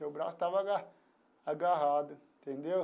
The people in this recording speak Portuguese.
Meu braço estava aga agarrado, entendeu?